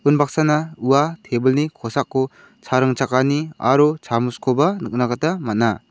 unbaksana ua tebil ni kosako cha ringchakani aro chamoskoba nikna gita man·a.